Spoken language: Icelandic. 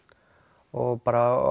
og bara